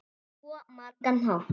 Á svo margan hátt.